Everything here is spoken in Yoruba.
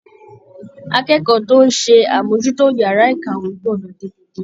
Akẹ́kọ̀ọ́ tó ń ṣe àmójútó yàrá ìkàwé gbọ́dọ̀ tètè dé